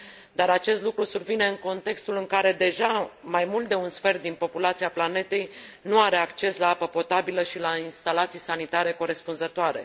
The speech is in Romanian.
dar acest lucru survine în contextul în care, deja, mai mult de un sfert din populația planetei nu are acces la apă potabilă și la instalații sanitare corespunzătoare.